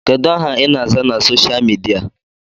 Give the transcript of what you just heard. Kedụ aha I na-aza na soshal midia?